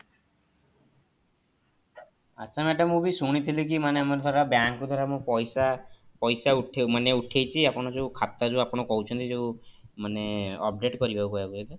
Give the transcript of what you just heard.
ଆଚ୍ଛା madam ମୁଁ ବି ଶୁଣିଥିଲି କି ମାନେ ଆମର ଧର bank କୁ ଧର ଆମେ ପଇସା ପଇସା ଉଠେଇ ମାନେ ଉଠେଇଚି ଆପଣ ଯୋଉ ଖାତା ଯୋଉ ଆପଣ କହୁଛନ୍ତି ଯୋଉ ମାନେ update କରିବାକୁ ଆଗ